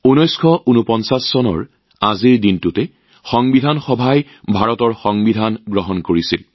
১৯৪৯ চনৰ আজিৰ দিনটোতে সংবিধান সভাই ভাৰতৰ সংবিধান গৃহীত কৰিছিল